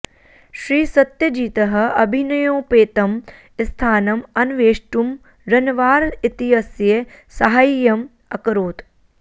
श्रीसत्यजितः अभिनयोपेतं स्थानम् अन्वेष्टुं रन्वार इत्यस्य साहाय्यम् अकरोत्